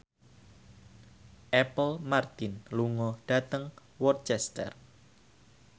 Apple Martin lunga dhateng Worcester